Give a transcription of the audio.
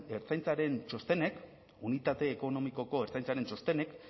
ertzaintzaren txostenek unitate ekonomikoko ertzaintzaren txostenek